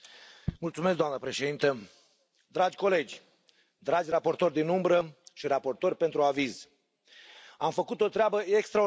Doamnă președintă, dragi colegi, dragi raportori din umbră și raportori pentru aviz, am făcut o treabă extraordinară.